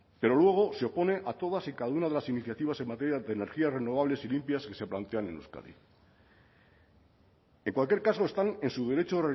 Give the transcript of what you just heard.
pero luego se opone a todas y cada una de las iniciativas en materia de energías renovables y limpias que se plantean en euskadi en cualquier caso están en su derecho